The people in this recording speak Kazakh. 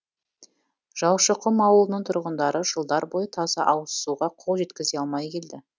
жаушықұм ауылының тұрғындары жылдар бойы таза ауызсуға қол жеткізе алмай келді